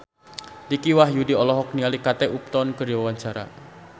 Dicky Wahyudi olohok ningali Kate Upton keur diwawancara